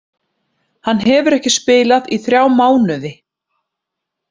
Hann hefur ekki spilað í þrjá mánuði.